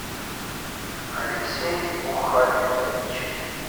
алексей мухамедович